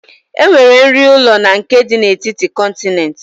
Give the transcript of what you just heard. Enwere nri ụlọ na nke dị n'etiti kọntinent